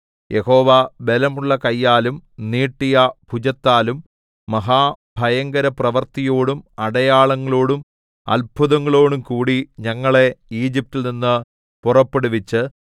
യഹോവ ബലമുള്ള കയ്യാലും നീട്ടിയ ഭുജത്താലും മഹാഭയങ്കരപ്രവൃത്തിയോടും അടയാളങ്ങളോടും അത്ഭുതങ്ങളോടുംകൂടി ഞങ്ങളെ ഈജിപ്റ്റിൽ നിന്ന് പുറപ്പെടുവിച്ച്